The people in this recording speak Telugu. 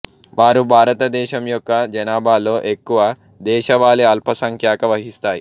వారు భారతదేశం యొక్క జనాభాలో ఎక్కువ దేశవాళీ అల్పసంఖ్యాక వహిస్తాయి